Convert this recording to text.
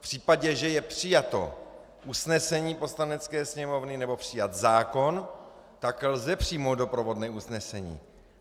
V případě, že je přijato usnesení Poslanecké sněmovny nebo přijat zákon, tak lze přijmout doprovodné usnesení.